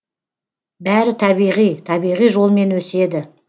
бәрі табиғи табиғи жолмен өседі